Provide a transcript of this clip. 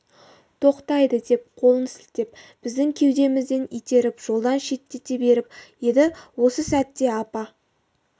тоқтамайды деп қолын сілтеп біздің кеудемізден итеріп жолдан шеттете беріп еді осы сәтте апа